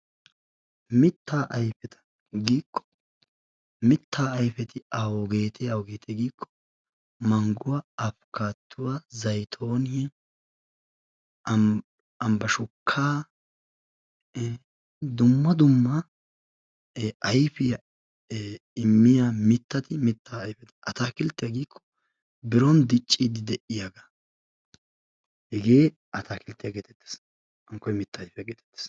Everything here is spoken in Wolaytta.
Mittaa ayfeta giikko mittaa ayfeti awugeetee awugeetee giikko mangguwa, apikkaattuwa, zaytooniya, ambbashukkaa dumma dumma ayfiya immiya mittati mittaa ayfeta, ataakilttiya giikko biron dicciiddi de'iyagaa. Hegee ataakilttiya geetettees. Hankkoy mittaa ayfiya geetettees.